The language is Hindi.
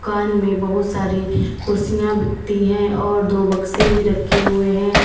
दुकान में बहुत सारी कुर्सियां बिकती हैं और दो बक्से भी रखे हुए हैं।